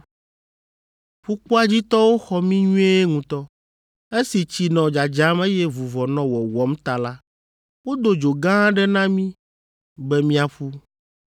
Ƒukpoa dzi tɔwo xɔ mí nyuie ŋutɔ. Esi tsi nɔ dzadzam eye vuvɔ nɔ wɔwɔm ta la, wodo dzo gã aɖe na mí be míaƒu.